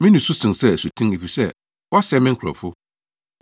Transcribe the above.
Me nusu sen sɛ asuten efisɛ wɔasɛe me nkurɔfo.